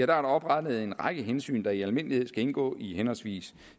der oprettet en række hensyn der i almindelighed skal indgå i henholdsvis